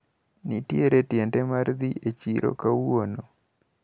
Nitiere tiende mar dhi e chiro kawuono.